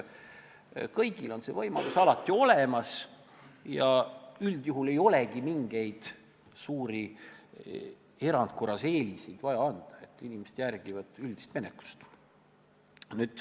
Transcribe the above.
Kõigil on see võimalus alati olemas ja üldjuhul ei olegi mingeid suuri erandkorras eeliseid vaja anda, inimesed järgivad üldist menetlust.